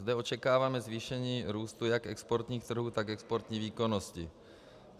Zde očekáváme zvýšení růstu jak exportních trhů, tak exportní výkonnosti.